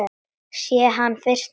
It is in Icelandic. Sé hann fyrst núna.